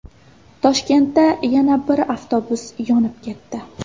Toshkentda yana bir avtobus yonib ketdi.